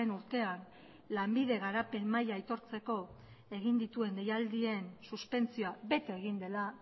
urtean lanbide garapen maila aitortzeko egin dituen deialdien suspentsioa bete egin dela